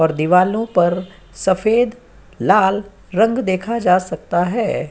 और दिवालो पर सफेद दलाल रंग देखा जा सकता है।